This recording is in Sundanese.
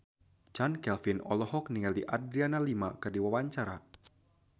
Chand Kelvin olohok ningali Adriana Lima keur diwawancara